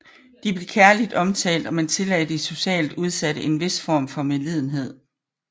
De blev kærligt omtalt og man tillagde de socialt udsatte en vis form for medlidenhed